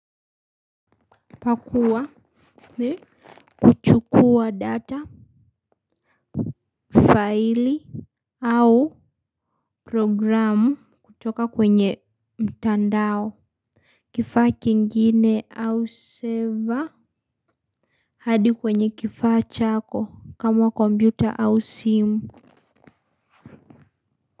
Pakua. Ni kuchukua data Faili Au programu kutoka kwenye mtandao kifaa kingine au server hadi kwenye kifaa chako kama kombiuta au simu.